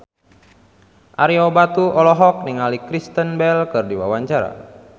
Ario Batu olohok ningali Kristen Bell keur diwawancara